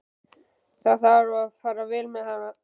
Það þarf að fara vel með hana.